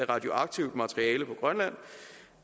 radioaktivt materiale på grønland